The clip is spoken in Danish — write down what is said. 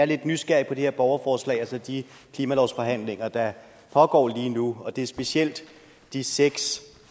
lidt nysgerrig på det her borgerforslag og så de klimalovsforhandlinger der pågår lige nu det er specielt de seks